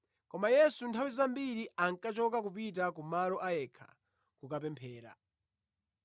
Koma Yesu nthawi zambiri ankachoka kupita ku malo a yekha kukapemphera.